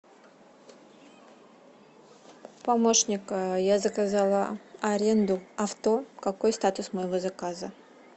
помощник я заказала аренду авто какой статус моего заказа